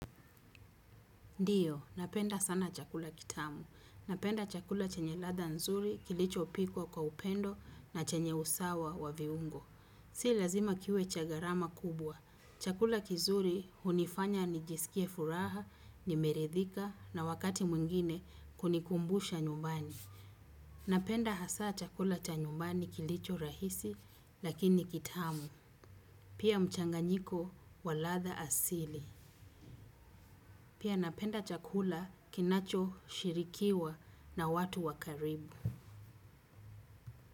Ndiyo, napenda sana chakula kitamu. Napenda chakula chenye ladha nzuri, kilichopikwa kwa upendo na chenye usawa wa viungo. Si lazima kiwe cha gharama kubwa. Chakula kizuri hunifanya nijiskie furaha nimeridhika na wakati mwengine kunikumbusha nyumbani. Napenda hasa chakula cha nyumbani kilicho rahisi lakini kitamu. Pia mchanganyiko wa ladha asili. Pia napenda chakula kinachoshirikiwa na watu wa karibu.